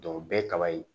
o bɛɛ ye kaba ye